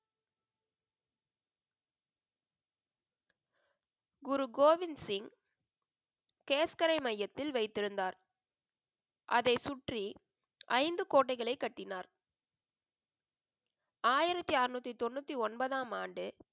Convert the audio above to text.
குரு கோவிந்த் சிங் கேஸ்கரை மையத்தில் வைத்திருந்தார். அதை சுற்றி ஐந்து கோட்டைகளை கட்டினார். ஆயிரத்தி அறுநூத்தி தொண்ணூத்தி ஒன்பதாம் ஆண்டு